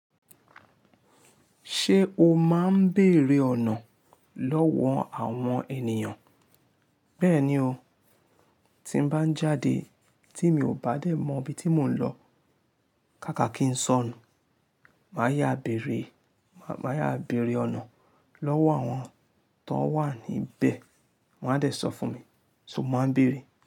Ṣé o máa ń beerè ọ̀nà lọ́wọ́ àwọn ènìyàn? Bẹ́ẹ̀ni o, tí n bá ń jáde tí mi ò bá dé mọ ibi tí mò ń lọ ká kà kí n sọnù, màá yáa béèrè, màá yáa béèrè ọ̀nà lọ́wọ́ àwọn tón wà níbẹ̀ wọn a dè sọ fún mi, ṣo mo maa n béèrè.